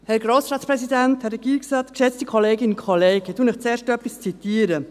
Zuerst zitiere ich etwas für Sie.